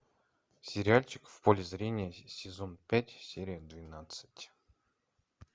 сериальчик в поле зрения сезон пять серия двенадцать